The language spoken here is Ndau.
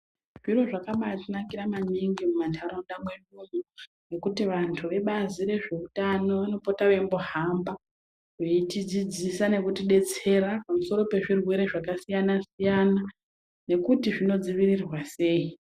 Zviro zvakabaatinakira maningi mumanharaunda mwedu umu, zvekuti vantu vebazi rezveutano vanopota veimbohamba veitidzidzisa nekutidetsera pamusoro pezvirwere zvakasiyana siyana. Nekuti zvinodziirirwa sei?